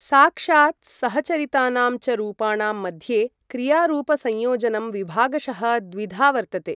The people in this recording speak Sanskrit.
साक्षात् सहचरितानां च रूपाणां मध्ये क्रियारूपसंयोजनं विभागशः द्विधा वर्तते।